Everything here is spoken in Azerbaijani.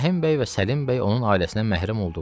Rəhim bəy və Səlim bəy onun ailəsinə məhrəm oldular.